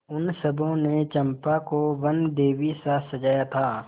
उन सबों ने चंपा को वनदेवीसा सजाया था